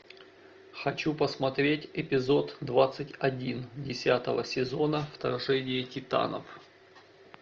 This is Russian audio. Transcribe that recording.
хочу посмотреть эпизод двадцать один десятого сезона вторжение титанов